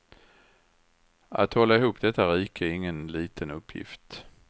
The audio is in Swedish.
Att hålla ihop detta rike är ingen liten uppgift.